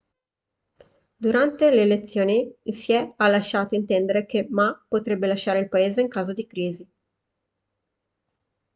durante le elezioni hsieh ha lasciato intendere che ma potrebbe lasciare il paese in caso di crisi